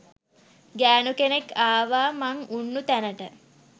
ගෑණු කෙනෙක් ආවා මං උන්නු තැනට